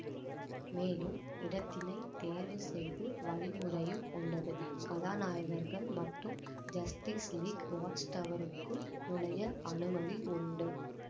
மேலும் இடத்தினை தேர்வு செய்து வழிமுறையும் உள்ளது கதாநாயகர்கள் மட்டும் ஜஸ்டிஸ் லீக் வாச்டவருக்குள் நுழைய அனுமதி உண்டு